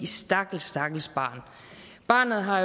stakkels stakkels barn barnet har